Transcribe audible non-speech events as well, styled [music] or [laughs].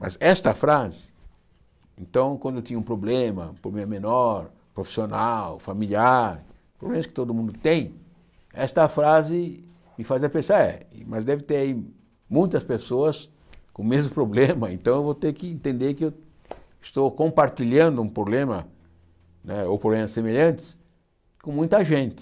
Mas esta frase, então quando eu tinha um problema, um problema menor, profissional, familiar, problemas que todo mundo tem, esta frase me fazia pensar, é, mas deve ter aí muitas pessoas com o mesmo [laughs] problema, então eu vou ter que entender que eu estou compartilhando um problema, né ou problemas semelhantes, com muita gente.